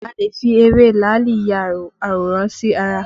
A lè fi ewé làálì ya àwòrán sí ara